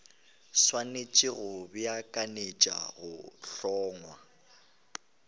swanetše go beakanyetša go hlongwa